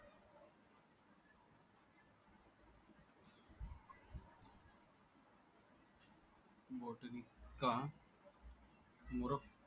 का मुरक